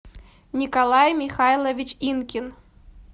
николай михайлович инкин